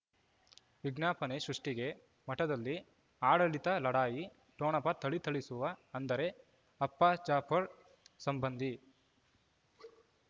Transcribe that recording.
ವಿಜ್ಞಾಪನೆ ಸೃಷ್ಟಿಗೆ ಮಠದಲ್ಲಿ ಆಡಳಿತ ಲಢಾಯಿ ಠೊಣಪ ಥಳಿ ಥಳಿಸುವ ಅಂದರೆ ಅಪ್ಪ ಜಾಫರ್ ಸಂಬಂಧಿ